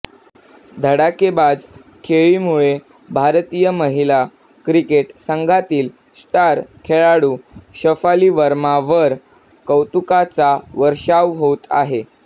धडाकेबाज खेळीमुळे भारतीय महिला क्रिकेट संघातील स्टार खेळाडू शफाली वर्मावर कौतुकांचा वर्षाव होत आहे